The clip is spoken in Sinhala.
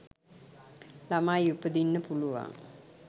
ළමයි උපදින්න පුළුවන්.